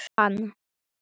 Glittir í hann.